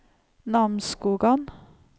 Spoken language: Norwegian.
Namsskogan